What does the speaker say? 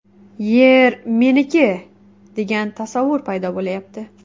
Yer meniki, degan tasavvur paydo bo‘lyapti.